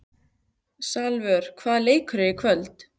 Salvör, hvaða leikir eru í kvöld?